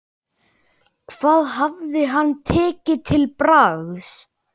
Hvað hefði hann tekið til bragðs?